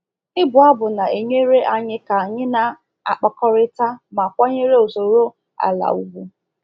Ịbụ abụ na-enyere anyị ka anyị na-akpakọrịta ma kwanyere usoro ala ugwu.